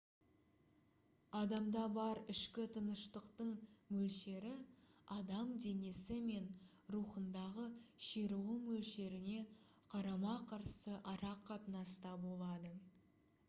адамда бар ішкі тыныштықтың мөлшері адам денесі мен рухындағы ширығу мөлшеріне қарама-қарсы ара қатынаста болады